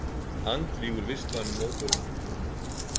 Andvígur vistvænum mótorum í formúlunni